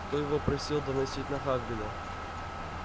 кто его просил доносить на хагрида